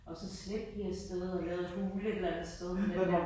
Og så slæbte vi afsted og lavede vi et hule et eller andet sted men den der